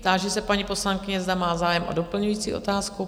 Táži se paní poslankyně, zda má zájem o doplňující otázku?